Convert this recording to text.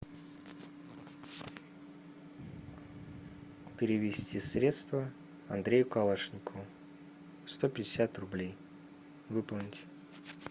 перевести средства андрею калашникову сто пятьдесят рублей выполнить